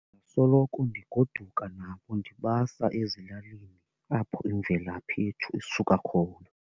Ndingasoloko ndigoduka nabo ndibasa ezilalini apho imvelaphi yethu isuka khona.